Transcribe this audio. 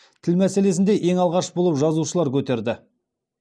тіл мәселесін де ең алғаш болып жазушылар көтерді